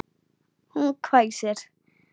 Hún hvæsir.